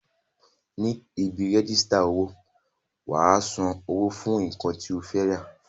Ní ibi rẹ́jísítà owó, wà á san owó fún nǹkan tí o fẹ́ rà